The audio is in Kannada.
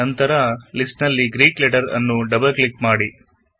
ನಂತರ ಲಿಸ್ಟ್ ನಲ್ಲಿ ಗ್ರೀಕ್ ಲೆಟರ್ ನ್ನು ಡಬಲ್ ಕ್ಲಿಕ್ ಮಾಡಿ ಆರಿಸಿ